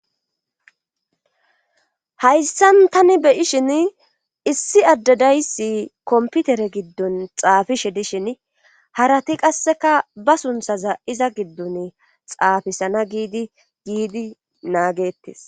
Hayssan tani beyishin issi addadayssi komputere giddun xaafishe dishin harati qasseka ba sunthaza iza giddun xaafisana giidi giidi naagettes